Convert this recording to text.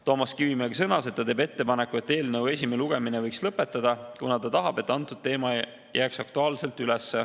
Toomas Kivimägi sõnas, et ta teeb ettepaneku eelnõu esimene lugemine lõpetada, kuna ta tahab, et see teema jääks aktuaalsena üles.